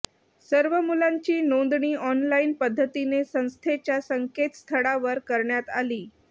सर्व मुलांची नोंदणी ऑनलाईन पद्धतीने संस्थेच्या संकेतस्थळावर करण्यात आली